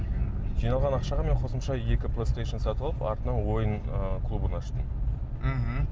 жиналған ақшаға мен қосымша екі плейстейшн сатып алып артынан ойын ыыы клубын аштым мхм